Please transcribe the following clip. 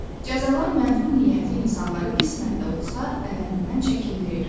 Cəzalar mənfur niyyətli insanları qismən də olsa əməlindən çəkindirir.